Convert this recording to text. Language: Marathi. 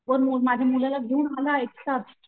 वर माझ्या मुलाला घेऊन आला एकटाच,